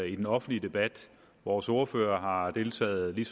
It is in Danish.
i den offentlige debat vores ordfører har har deltaget lige